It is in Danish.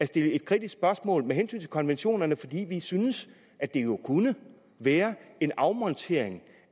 stiller et kritisk spørgsmål til konventionerne fordi vi synes at det jo kunne være en afmontering